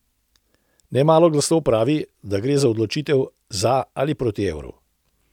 Nemalo glasov pravi, da gre za odločitev za ali proti evru.